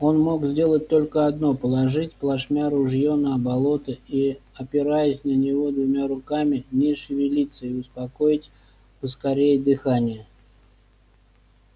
он мог сделать только одно положить плашмя ружьё на болото и опираясь на него двумя руками не шевелиться и успокоить поскорее дыхание